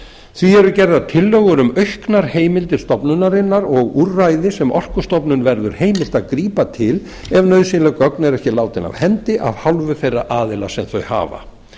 því eru gerðar tillögur um auknar heimildir stofnunarinnar og úrræði sem orkustofnun verður heimilt að grípa til ef nauðsynleg gögn eru ekki látin af hendi af hálfu þeirra aðila sem þau hafa